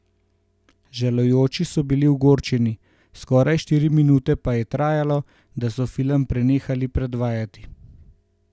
Žalujoči so bili ogorčeni, skoraj štiri minute pa je trajalo, da so film prenehali predvajati.